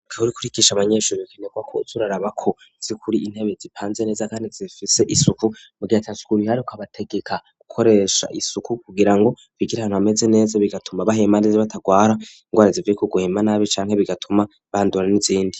Iyo kurikisha abanyeshuri bikenerwa ko uzurara bako zikuri intebe zipanze neza kandi zifise isuku mu gihatasukuriihari ukabategeka gukoresha isuku kugira ngo bigire hantu ameze neza bigatuma bahema neze batagwara indwara zivuye ko guhema nabi canke bigatuma bandura n'izindi.